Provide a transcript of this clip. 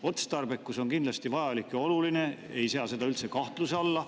Otstarbekus on kindlasti vajalik ja oluline, ei sea seda üldse kahtluse alla.